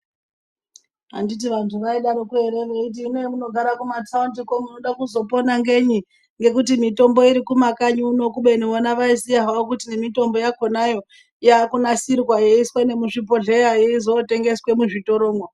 Anditi vantu vai daroko kuti hino pa muno gara ku matawunti ko munoda kuzo pona ngenyi ngekuti mitombo iri kuma kanyi kuno kubeni vona vaiziya kuti ne mitombo yakonayo yaku nasirwa yeiswe nemi zvi bhohleya yeizo tengeswe mu zvitoro mwo.